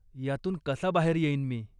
यातून कसा बाहेर येईन मी?